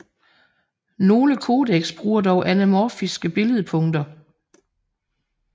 Nogle codecs bruger dog anamorphiske billedpunkter